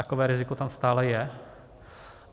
Takové riziko tam stále je.